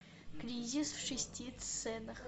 кризис в шести сценах